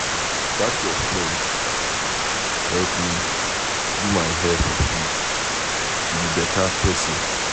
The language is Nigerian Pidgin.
Dat your friend help me do my hair for free. She be beta person.